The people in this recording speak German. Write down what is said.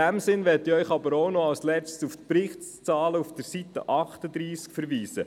Ich möchte Sie auch noch auf die Zahlen auf Seite 38 des Berichts verweisen.